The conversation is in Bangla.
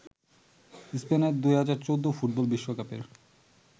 স্পেনের ২০১৪ ফুটবল বিশ্বকাপের